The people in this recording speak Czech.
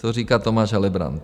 To říká Tomáš Helebrant.